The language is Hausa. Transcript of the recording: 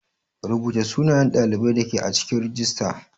Rubuta sunayen ɗalibai ake a cikin rijista.